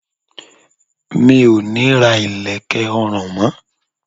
Mi ò ní ra ilẹ̀kẹ̀ ọrùn mó.